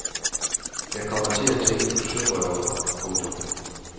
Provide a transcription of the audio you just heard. Jeg kommer til at tænke på sørøvere. punktum